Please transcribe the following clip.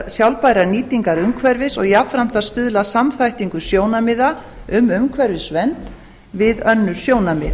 sjálfbærrar nýtingar umhverfis og jafnframt að stuðla að samþættingu sjónarmiða um umhverfisvernd við önnur sjónarmið